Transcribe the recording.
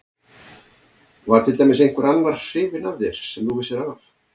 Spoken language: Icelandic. Var til dæmis einhver annar hrifinn af þér sem þú vissir af?